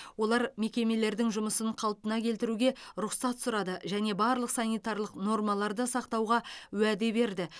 олар мекемелердің жұмысын қалпына келтіруге рұқсат сұрады және барлық санитарлық нормаларды сақтауға уәде берді